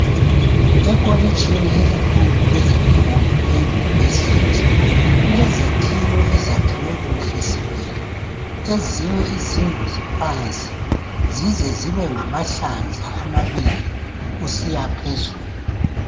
Ekolitshini elikhulu lezefundo eyunivesithi kulezakhiwo ezakhwe kuhle sibili ezinye izindlu ziphansi zize zibe ngamahlandla amabili kusiya phezulu.